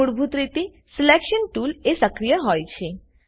મૂળભૂત રીતે સિલેક્શન Toolએ સક્રિય હોય છે